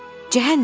Cəhənnəmə ki,